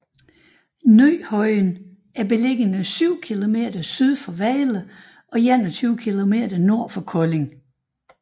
Ny Højen er beliggende syv kilometer syd for Vejle og 21 kilometer nord for Kolding